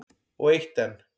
Og eitt enn.